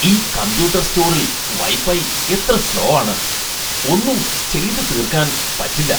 ഈ കമ്പ്യൂട്ടർ സ്റ്റോറിൽ വൈഫൈ എത്ര സ്ലോ ആണ്. ഒന്നും ചെയ്തു തീർക്കാൻ പറ്റില്ല.